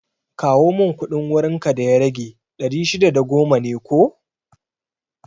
Kawo mun kuɗin wurin ka da ya rage, ɗari shida da goma ne ko?